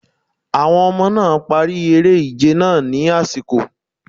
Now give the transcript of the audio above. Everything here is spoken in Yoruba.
Àwọn ọmọ náà̀ parí eré ìje náà ní àsìkò.